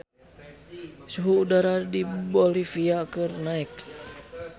Suhu udara di Bolivia keur naek